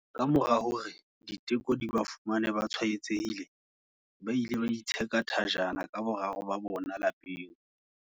Kamora hore diteko di ba fumane ba tshwaetsehile, ba ile ba itsheka thajana ka boraro ba bona lapeng.